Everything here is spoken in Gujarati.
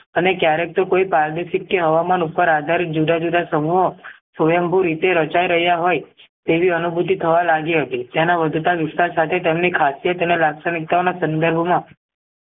અને ક્યારેક તો કોઈ પારદર્શક કે હવામાન ઉપર આધારિત જુદા જુદા સમૂહો સ્વંયમભુ રીતે રચાય રહ્યા હોય તેવી અનુભૂતિ થવા લાગી હતી જેના વધતા વિસ્તાર સાથે તેમની ખાસય તેમની લાક્ષણિકતા ઓના સન્દર્ભમાં